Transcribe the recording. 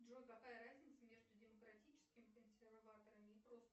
джой какая разница между демократическими консерваторами и просто